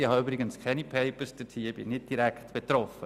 Ich habe übrigens keine «Papers», und bin nicht direkt betroffen.